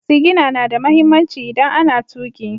Sigina na da mahimmanci idan ana tuƙi.